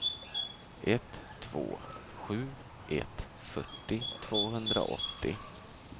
ett två sju ett fyrtio tvåhundraåttio